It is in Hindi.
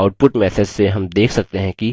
output message से rm देख सकते हैं कि